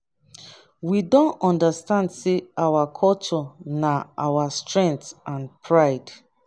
we don understand say our culture na our strength and pride.